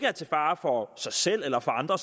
er til fare for sig selv eller for andre